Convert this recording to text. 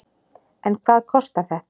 En hvað kostar þetta?